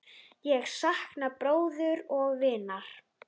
Ég sakna bróður og vinar.